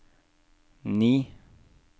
ni